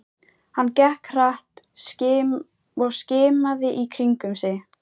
Hann gekk hratt og skimaði í kringum sig.